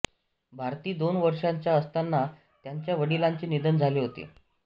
भारती दोन वर्षांच्या असताना त्यांच्या वडिलांचे निधन झाले होते